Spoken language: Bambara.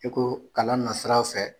E ko kalan na siraw fɛ